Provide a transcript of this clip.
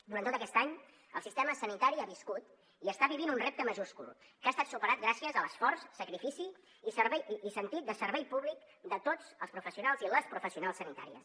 durant tot aquest any el sistema sanitari ha viscut i està vivint un repte majúscul que ha estat superat gràcies a l’esforç sacrifici i sentit de servei públic de tots els professionals i les professionals sanitàries